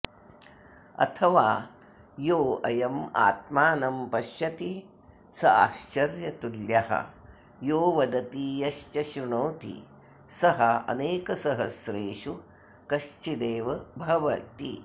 अथवा योऽयमात्मानं पश्यति स आश्चर्यतुल्यः यो वदति यश्च श्रृणोति सः अनेकसहस्रेषु कश्चिदेव भवति